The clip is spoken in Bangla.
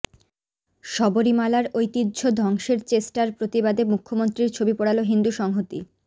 শবরীমালার ঐতিহ্য ধ্বংসের চেষ্টার প্রতিবাদে মুখ্যমন্ত্রীর ছবি পোড়াল হিন্দু সংহতি